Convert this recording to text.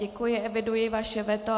Děkuji, eviduji vaše veto.